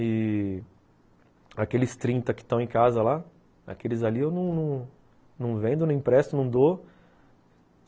E aqueles trinta que estão em casa lá, aqueles ali eu não não vendo, não empresto, não dou.